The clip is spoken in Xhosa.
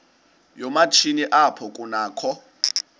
yoomatshini apho kunakho